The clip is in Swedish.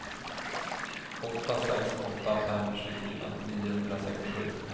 åtta sex åtta fem tjugofyra niohundrasextiosju